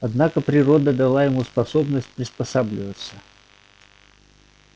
однако природа дала ему способность приспосабливаться